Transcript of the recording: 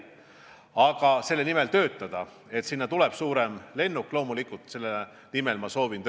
Aga selle nimel töötada, et liinidele tuleks suurem lennuk, ma loomulikult soovin.